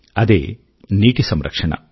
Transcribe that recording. అదే నీటి సంరక్షణ